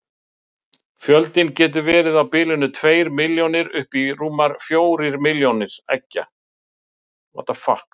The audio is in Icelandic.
Verður ekki erfitt fyrir Breiðablik að halda honum vegna áhuga erlendis frá?